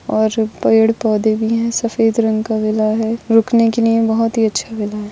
और पेड़ पौधे भी है सफेद रंग का वीला हैं रुखने के लिए बहुत हि अच्छा वीला है।